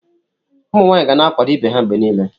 Ụmụ nwanyị ga na-akwado ibe ha mgbe niile.